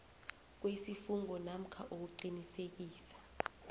kwesifungo namkha ukuqinisekisa